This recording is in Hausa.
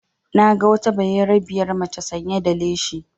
Na ga wata bayarabiyar maca sanya da leshi